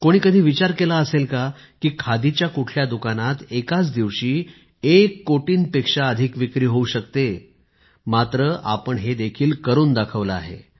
कोणी कधी विचार केला असेल का की खादीच्या कुठल्या दुकानात एकाच दिवशी एक कोटींपेक्षा अधिक विक्री होऊ शकते मात्र आपण हे देखील करुन दाखवले आहे